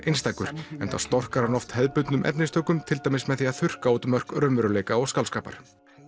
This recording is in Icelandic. einstakur enda storkar hann oft hefðbundnum efnistökum til dæmis með því að þurrka út mörk raunveruleika og skáldskapar